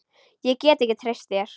Ég get ekki treyst þér.